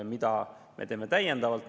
Mida me teeme täiendavalt?